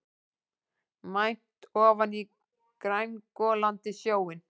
Mænt ofan í grængolandi sjóinn.